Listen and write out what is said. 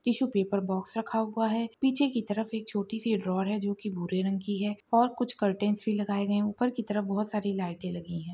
Tissue paper box रखा हुवा है पीछे की तरफ एक छोटी सी ड्रावर है जो की भूरे रंग की है और कुछ कर्टेंस भी लगाए गए ऊपर की तरफ बहुत सारी लाइटे लगी है।